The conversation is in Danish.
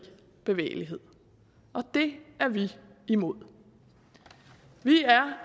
bevægelighed og det er vi imod vi er